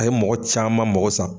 A ye mɔgɔ caman mago sa